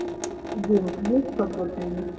губка боб